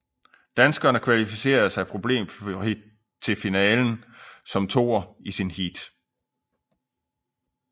Danskerne kvalificerede sig problemfrit til finalen som toer i sit heat